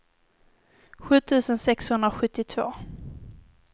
sju tusen sexhundrasjuttiotvå